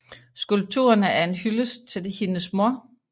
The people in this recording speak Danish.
Skulpturerne er en hyldest til hendes mor